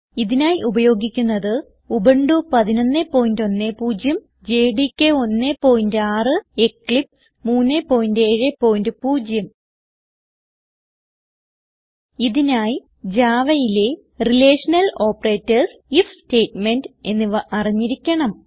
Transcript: ഇതിനായി ഉപയോഗിക്കുന്നത് Ubuntu 1110 JDK 16 Eclipse 370 ഇതിനായി Javaയിലെ റിലേഷണൽ ഓപ്പറേറ്റർസ് ഐഎഫ് സ്റ്റേറ്റ്മെന്റ് എന്നിവ അറിഞ്ഞിരിക്കണം